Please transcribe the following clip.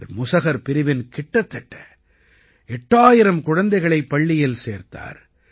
இவர் முஸஹர் பிரிவின் கிட்டத்தட்ட 8000 குழந்தைகளை பள்ளியில் சேர்த்தார்